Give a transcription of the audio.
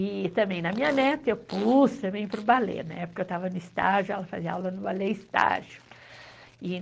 E também na minha neta eu pus também para o balé, na época eu estava no estágio, ela fazia aula no balé estágio.